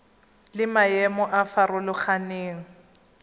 le maemo a a farologaneng